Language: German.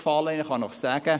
Ich kann Ihnen sagen: